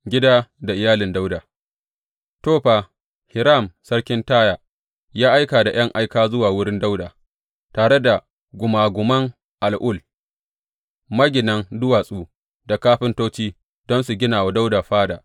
Gida da iyalin Dawuda To, fa, Hiram sarkin Taya ya aika da ’yan aika zuwa wurin Dawuda, tare da gumaguman al’ul, maginan duwatsu da kafintoci, don su gina wa Dawuda fada.